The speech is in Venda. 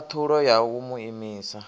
khathulo ya u mu imisa